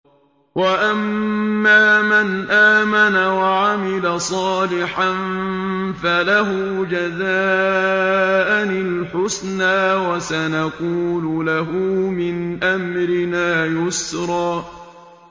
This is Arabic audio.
وَأَمَّا مَنْ آمَنَ وَعَمِلَ صَالِحًا فَلَهُ جَزَاءً الْحُسْنَىٰ ۖ وَسَنَقُولُ لَهُ مِنْ أَمْرِنَا يُسْرًا